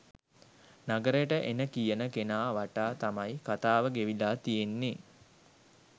නගරෙට එන කියන කෙනා වටා තමයි කතාව ගෙවිලා තියෙන්නේ